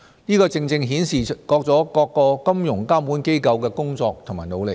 這正正顯示了各個金融監管機構的工作和努力。